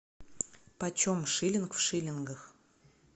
по чем шиллинг в шиллингах